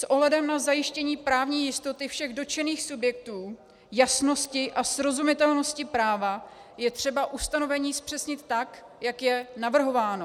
S ohledem na zajištění právní jistoty všech dotčených subjektů, jasnosti a srozumitelnosti práva je třeba ustanovení zpřesnit tak, jak je navrhováno.